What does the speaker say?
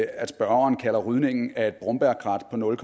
at spørgeren kalder rydningen af et brombærkrat på nul